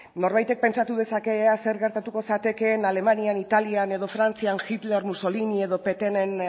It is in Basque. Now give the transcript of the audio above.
norbaitek pentsatu dezake ea zer gertatuko zatekeen alemanian italian edo frantzian hitler mussolini edo pétainen